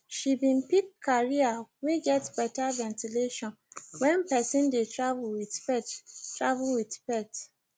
she been pick carrier wey get better ventilation when person de travel with pet travel with pet